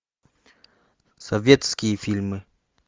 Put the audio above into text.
советские фильмы